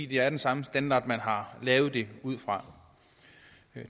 det er den samme standard man har lavet det ud fra